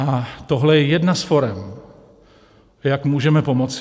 A tohle je jedna z forem, jak můžeme pomoci.